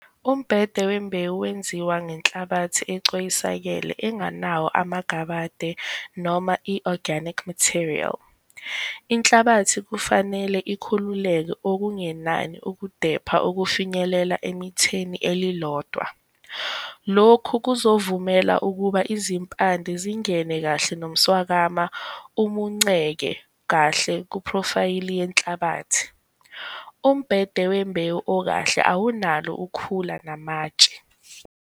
Umbhede wembewu wenziwa ngenhlabathi ecoyisakele enganawo amagabade noma i-organic material. Inhlabathi kufanele ikhululeke okungenani ukudepha okufinyelela emitheni elilodwa. Lokhu kuzovumela ukuba izimpande zingene kahle nomswakama umunceke kahle kuphrofayili yenhlabathi. Umbhede wembewu okahle awunalo ukhula namatshe.